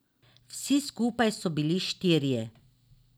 Vsi skupaj so bili štirje.